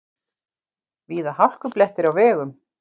Víða hálkublettir á vegum